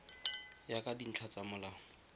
ya ka dintlha tsa molao